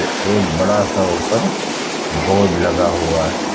त एक बड़ा सा ऊपर बोर्ड लगा हुआ है।